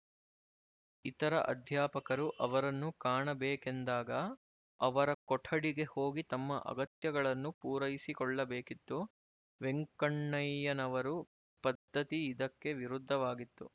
ಇತರ ಅಧ್ಯಾಪಕರು ಅವರನ್ನು ಕಾಣಬೇಕೆಂದಾಗ ಅವರ ಕೊಠಡಿಗೆ ಹೋಗಿ ತಮ್ಮ ಅಗತ್ಯಗಳನ್ನು ಪೂರೈಸಿಕೊಳ್ಳಬೇಕಿತ್ತು ವೆಂಕಣ್ಣಯ್ಯನವರ ಪದ್ಧತಿ ಇದಕ್ಕೆ ವಿರುದ್ಧವಾಗಿತ್ತು